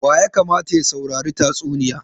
Wa ya kamata ya saurari tatsuniya?